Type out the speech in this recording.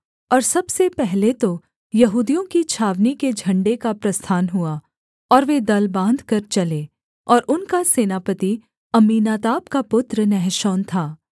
और सबसे पहले तो यहूदियों की छावनी के झण्डे का प्रस्थान हुआ और वे दल बाँधकर चले और उनका सेनापति अम्मीनादाब का पुत्र नहशोन था